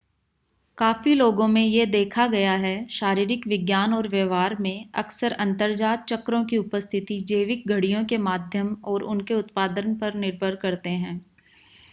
काफी लोगो में यह देखा गया है शारीरिक विज्ञान और व्यवहार में अक्सर अंतर्जात चक्रों की उपस्थिति जैविक घड़ियों के माध्यम और उनके उत्पादन पर निर्भर करते हैं